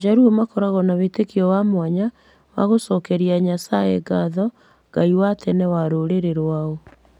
Ajaruo makoragwo na wĩtĩkio wa mwanya wa gũcokeria Nyasaye ngatho, Ngai wa tene wa rũrĩrĩ rwao.